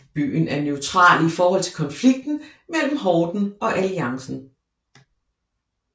Byen er neutral i forhold til konflikten mellem Horden og Alliancen